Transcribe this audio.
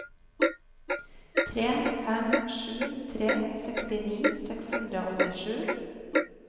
tre fem sju tre sekstini seks hundre og åttisju